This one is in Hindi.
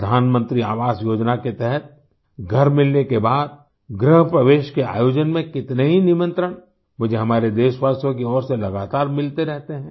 प्रधानमंत्री आवास योजना के तहत घर मिलने के बाद गृहप्रवेश के आयोजन में कितने ही निमंत्रण मुझे हमारे देशवासियों की ओर से लगातार मिलते रहते हैं